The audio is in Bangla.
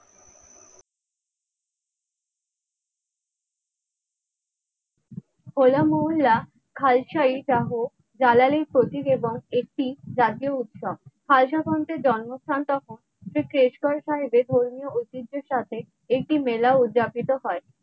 হো লা মহল্লা খালসায় দাহ জালালি র প্রতিবেদন একটি জাতীয় উৎসব খালসা তন্ত্রের জন্মস্থান তখন এটি শেষ তরফায় ধর্মীয় ঐতিহ্যের সাথে এটি মেলা উদযাপিত হয়।